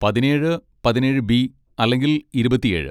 പതിനേഴ്, പതിനേഴ് ബി അല്ലെങ്കിൽ ഇരുപത്തിഏഴ്.